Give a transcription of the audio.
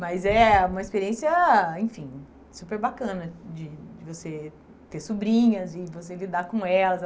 Mas é uma experiência, enfim, super bacana de você ter sobrinhas e você lidar com elas.